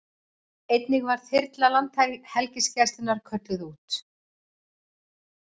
Einnig var þyrla Landhelgisgæslunnar kölluð út